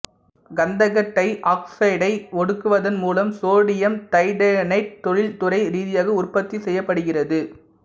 கந்தக டை ஆக்சைடை ஒடுக்குவதன் மூலம் சோடியம் டைதயோனைட்டு தொழில்துறை ரீதியாக உற்பத்தி செய்யப்படுகிறது